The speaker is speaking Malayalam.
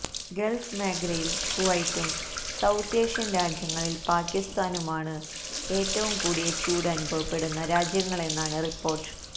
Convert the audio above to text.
ഗള്ഫ് മേഖലയില് കുവൈറ്റും സൌത്ത് ഏഷ്യന് രാജ്യങ്ങളില് പാകിസ്ഥാനുമാണ് ഏറ്റവും കൂടിയ ചൂട് അനുഭവപ്പെട്ട രാജ്യങ്ങളെന്നാണ് റിപ്പോര്ട്ട്